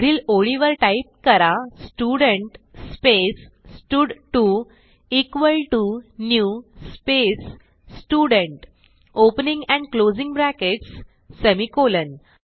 पुढील ओळीवर टाईप करा स्टुडेंट स्पेस स्टड2 equal T O new space student opening and closing brackets semicolon